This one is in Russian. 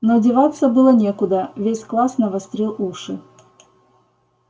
но деваться было некуда весь класс навострил уши